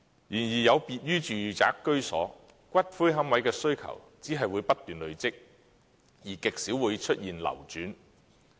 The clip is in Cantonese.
然而，有別於住宅居所，龕位的需求只會不斷累積，而極少會出現流轉。